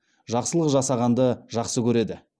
жақсылық жасағанды жақсы көреді